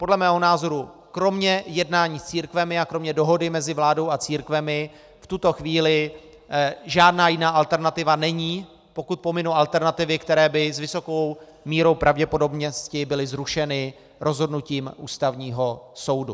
Podle mého názoru kromě jednání s církvemi a kromě dohody mezi vládou a církvemi v tuto chvíli žádná jiná alternativa není, pokud pominu alternativy, které by s vysokou mírou pravděpodobnosti byly zrušeny rozhodnutím Ústavního soudu.